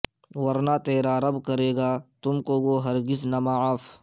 ورنہ تیرا رب کرے گا تم کو وہ ہرگز نہ معاف